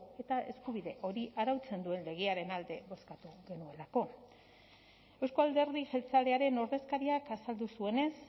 eta eskubide hori arautzen duen legearen alde bozkatu genuelako euzko alderdi jeltzalearen ordezkariak azaldu zuenez